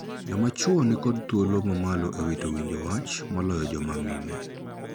Joma chwo ni kod thuolo ma malo e wito winjo wach moloyo joma mine.